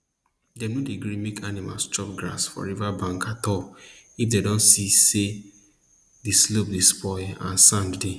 dem no dey gree make animal chop grass for river bank at all if dem don see say the slope dey spoil and sand dey